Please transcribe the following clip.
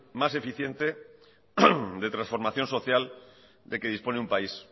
más eficiente de transformación social de que dispone un país